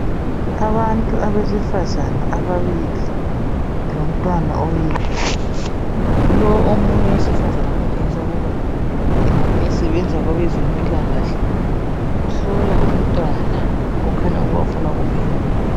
Abantu besifazana ababili lomntwana oyedwa, lowo omunye owesifazana otshengisa ukuba engabe esebenza kwabezempilakahle uhlola umntwana okhanya ukuba ufuna ukumelapha.